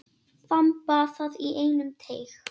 Þamba það í einum teyg.